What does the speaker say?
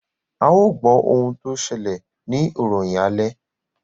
ào gbó òún tó ṣẹlẹ ní ìròyìn alè